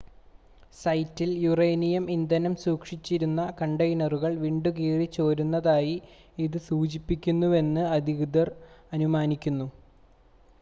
സൈറ്റിൽ യുറേനിയം ഇന്ധനം സൂക്ഷിച്ചിരുന്ന കണ്ടെയ്‌നറുകൾ വിണ്ടുകീറി ചോരുന്നതായി ഇത് സൂചിപ്പിക്കുന്നുവെന്ന് അധികൃതർ അനുമാനിക്കുന്നു